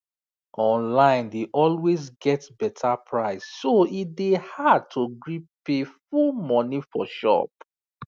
online dey always get better price so e dey hard to gree pay full money for shop